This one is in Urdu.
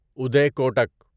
اڑے کوٹک